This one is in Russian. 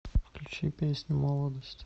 включи песню молодость